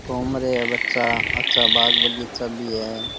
घूम रा है बच्चा अच्छा बाग़ बगीचा भी है।